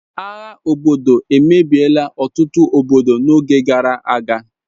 agha obodo emebiela otutu obodo n'oge gara aga